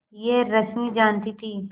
यह रश्मि जानती थी